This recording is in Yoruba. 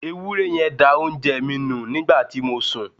Ewúré yen da oúnje mi nu nígbàti mo sun